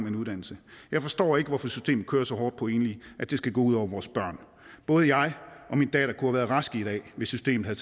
en uddannelse jeg forstår ikke hvorfor systemet kører så hårdt på enlige at det skal gå ud over vores børn både jeg og min datter kunne have været raske i dag hvis systemet